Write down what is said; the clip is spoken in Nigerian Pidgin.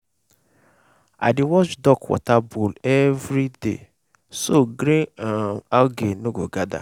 i dey wash duck water bowl everyday so green um algae no go gather.